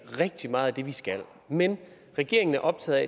rigtig meget af det vi skal men regeringen er optaget